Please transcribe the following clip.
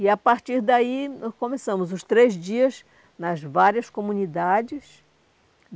E, a partir daí, nós começamos os três dias nas várias comunidades.